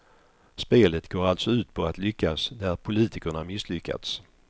Spelet går alltså ut på att lyckas där politikerna misslyckats.